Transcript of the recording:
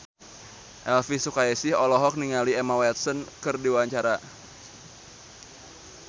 Elvy Sukaesih olohok ningali Emma Watson keur diwawancara